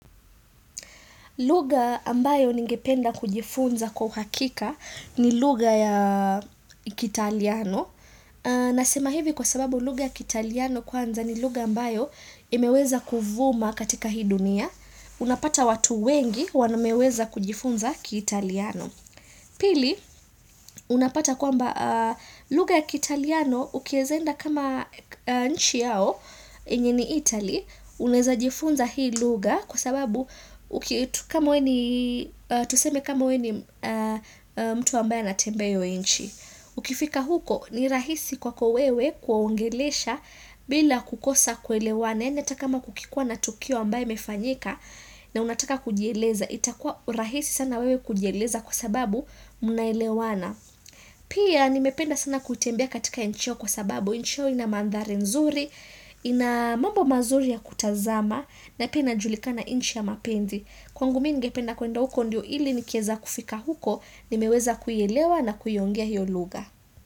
Lugha ambayo ningependa kujifunza kwa uhakika ni lugha ya kiitaliano. Nasema hivi kwa sababu lugha ya kiitaliano kwanza ni lugha ambayo imeweza kuvuma katika hii dunia. Unapata watu wengi wameweza kujifunza kiitaliano. Pili, unapata kwamba lugha ya kiitaliano ukieza enda kama nchi yao, yenye ni Itali, unaeza jifunza hii lugha kwa sababu tuseme kama we ni mtu ambaye anatembea hiyo nchi. Ukifika huko ni rahisi kwako wewe kuongelesha bila kukosa kuelewana Yani hata kama kukikua na tukio ambaye imefanyika na unataka kujieleza. Itakua rahisi sana wewe kujieleza kwa sababu mnaelewana. Pia nimependa sana kutembea katika nchi yao kwa sababu. Nchi yao ina mandhari nzuri, ina mambo mazuri ya kutazama na pia inajulikana nchi ya mapenzi Kwangu mimi ngependa kwenda huko ndio ili nikieza kufika huko nimeweza kuielewa na kuiongea hiyo lugha.